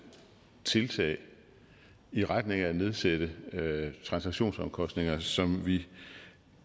tiltag i retning af at nedsætte transaktionsomkostninger som vi